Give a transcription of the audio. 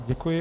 Děkuji.